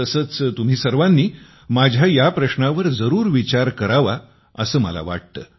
तसंच तुम्ही सर्वांनी माझ्या या प्रश्नावर जरूर विचार करावा असं मला वाटतं